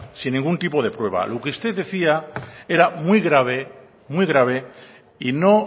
sin ningún de prueba lo que usted decía era muy grave muy grave y no